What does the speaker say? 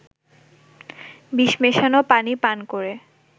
বিষ মেশানো পানি পান করে